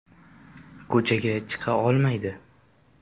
Ko‘chaga chiqa olmaydi.